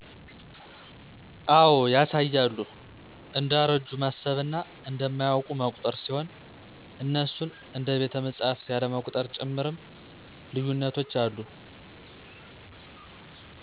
አዎ ያሳያሉ እንደአረጁ ማሰብና እንማያወቁ መቁጠር ሲሆን እነሱን እደ ቤተመፅሀፍት ያለመቁጥር ጭምርም ልዪነቶች አለ።